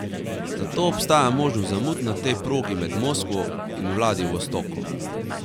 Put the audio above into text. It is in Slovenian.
Zato obstaja možnost zamud na tej progi med Moskvo in Vladivostokom.